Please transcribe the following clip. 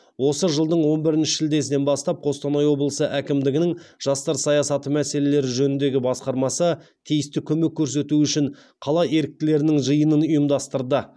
осы жылдың он бірінші шілдесінен бастап қостанай облысы әкімдігінің жастар саясаты мәселелері жөніндегі басқармасы тиісті көмек көрсету үшін қала еріктілерінің жиынын ұйымдастырды